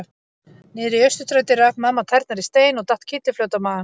Niðri í Austurstræti rak mamma tærnar í stein og datt kylliflöt á magann.